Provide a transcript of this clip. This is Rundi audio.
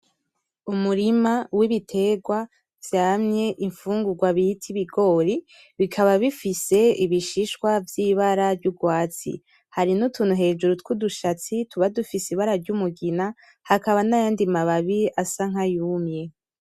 Umurima w'ibiterwa vyamye imfungurwa bita ibigori, bikaba bifise ibishishwa vy'ibara ry'urwatsi. Hari n'utuntu hejuru twudu shatsi tuba dufise ibara ry'umugina, hakaba n'ayandi mababi asa nkayumye.